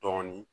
Dɔɔnin